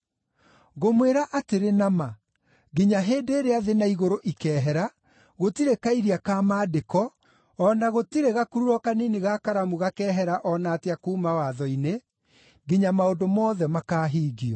Ngũmwĩra atĩrĩ na ma, nginya hĩndĩ ĩrĩa thĩ na igũrũ ikeehera, gũtirĩ kairia ka maandĩko, o na gũtirĩ gakururo kanini ga karamu gakeehera o na atĩa kuuma Watho-inĩ, nginya maũndũ mothe makaahingio.